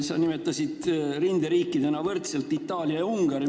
Sa nimetasid rinderiikidena nii Itaaliat kui Ungarit.